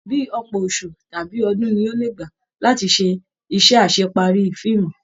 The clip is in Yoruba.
Bíí ọpọ oṣù tàbí ọdún ní o le gbá láti se isẹ́ asepari fíìmù.